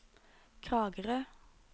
Kragerø